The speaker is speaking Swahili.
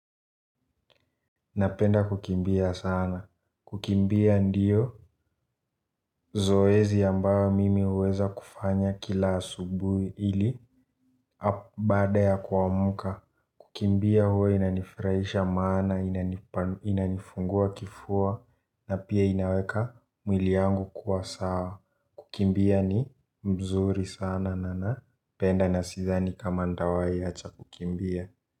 Napenda kukimbia sana. Kukimbia ndiyo zoezi ambayo mimi huweza kufanya kila asubuhi ili baada ya kuamka. Kukimbia huwa inanifurahisha maana, inanifungua kifua na pia inaweka mwili yangu kuwa sawa. Kukimbia ni mzuri sana na napenda nasidhani kama ntawai acha kukimbia.